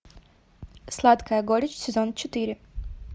сладкая горечь сезон четыре